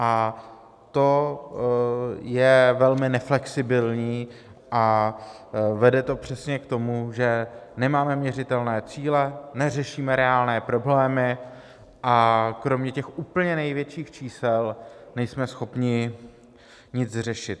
A to je velmi neflexibilní a vede to přesně k tomu, že nemáme měřitelné cíle, neřešíme reálné problémy a kromě těch úplně největších čísel nejsme schopni nic řešit.